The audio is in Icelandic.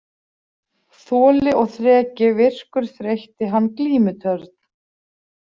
Þoli og þreki virkur þreytti hann glímutörn.